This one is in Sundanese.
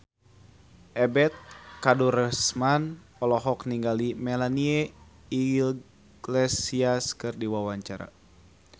Ebet Kadarusman olohok ningali Melanie Iglesias keur diwawancara